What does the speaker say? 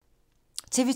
TV 2